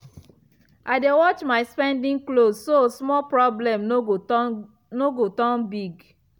i dey watch my spending close so small problem no go turn no go turn big.